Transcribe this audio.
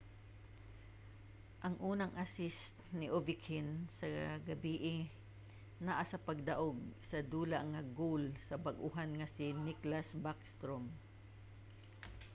ang unang assist ni ovechkin sa gabii naa sa pagdaug-sa-dula nga goal sa bag-ohan nga si nicklas backstrom;